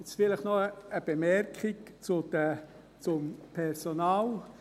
Nun vielleicht noch eine Bemerkung zum Personal: